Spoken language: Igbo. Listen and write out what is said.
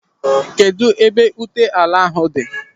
Kedụ ebe ụta ala ahụ dị?